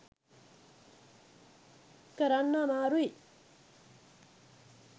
කරන්න අමාරුයි.